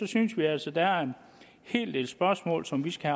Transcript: synes vi altså at der er en hel del spørgsmål som vi skal